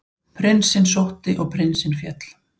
Prinsinn sótti og prinsinn féll.